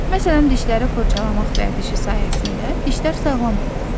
Məsələn, dişləri fırçalamaq vərdişi sayəsində dişlər sağlam olur.